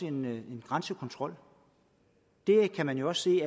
en grænsekontrol det kan man jo også se